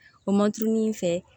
O man kurunin in fɛ